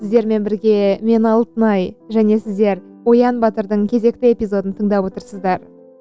сіздермен бірге мен алтынай және сіздер оян батырдың кезекті эпизодын тыңдап отырсыздар